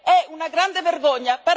È una grande vergogna!